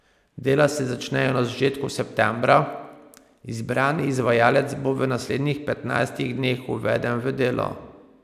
Dela se začnejo na začetku septembra, izbrani izvajalec bo v naslednjih petnajstih dneh uveden v delo.